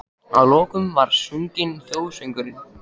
Að lokum var svo sunginn þjóðsöngurinn.